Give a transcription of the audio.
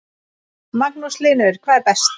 Magnús Hlynur: Hvað er best?